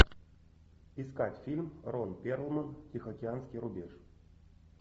искать фильм рон перлман тихоокеанский рубеж